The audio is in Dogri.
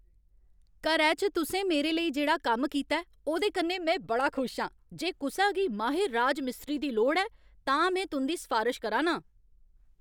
घरै च तुसें मेरे लेई जेह्ड़ा कम्म कीता ऐ ओह्दे कन्नै में बड़ा खुश आं। जे कुसै गी माहिर राजमिस्त्री दी लोड़ ऐ, तां में तुं'दी सफारश करा ना आं।